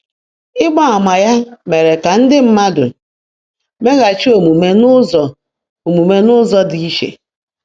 Ịgba ama ya mere ka ndị mmadụ meghachi omume n’ụzọ omume n’ụzọ dị iche.